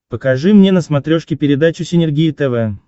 покажи мне на смотрешке передачу синергия тв